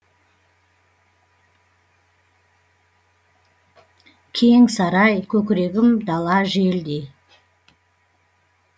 кең сарай көкірегім дала желдей